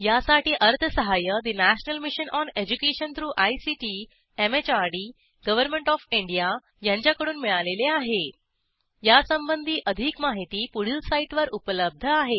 यासाठी अर्थसहाय्य national mission on education through ICT MHRD government OF India यांच्याकडून मिळालेले आहेयासंबंधी अधिक माहिती पुढील साईटवर उपलब्ध आहे